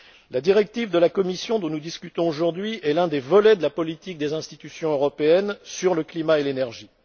La directive de la Commission dont nous discutons aujourd'hui est l'un des volets de la politique des institutions européennes sur le climat et l'énergie.